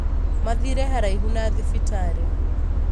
Mathire haraihu na thibitarĩ